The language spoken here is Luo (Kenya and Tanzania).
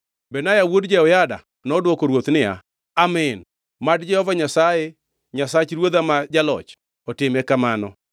Benaya wuod Jehoyada nodwoko ruoth niya, “Amin! Mad Jehova Nyasaye, Nyasach ruodha ma jaloch otime kamano.